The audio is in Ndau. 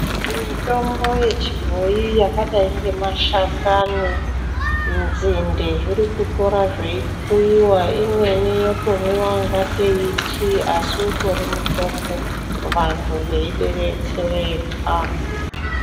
Mitombo yechibhoi yakadai ngemashakani dzinde zvirikutora zveikuiwa imweni yotomwewa kungatei itii asi uri mutombo vantu veibetsereka.